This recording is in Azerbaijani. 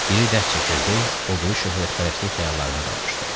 Biri dərd çəkirdi, o biri şöhrətpərəstlik xəyallarına dalmışdı.